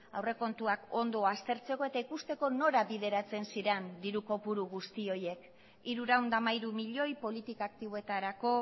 aurrekontuak ondo aztertzeko eta ikusteko nora bideratzen ziren diru kopuru guzti horiek hirurehun eta hamairu milioi politika aktiboetarako